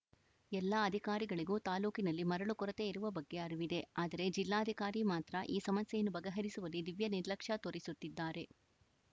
ಎಲ್ಲ ಅಧಿಕಾರಿಗಳಿಗೂ ತಾಲೂಕಿನಲ್ಲಿ ಮರಳು ಕೊರತೆ ಇರುವ ಬಗ್ಗೆ ಅರಿವಿದೆ ಆದರೆ ಜಿಲ್ಲಾಧಿಕಾರಿ ಮಾತ್ರ ಈ ಸಮಸ್ಯೆಯನ್ನು ಬಗೆಹರಿಸುವಲ್ಲಿ ದಿವ್ಯ ನಿರ್ಲಕ್ಷ್ಯ ತೋರಿಸುತ್ತಿದ್ದಾರೆ